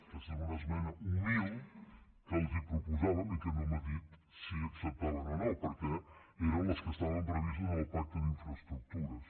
aquesta és una esmena humil que els proposàvem i que no m’ha dit si acceptaven o no perquè eren les que estaven previstes en el pacte d’infraestructures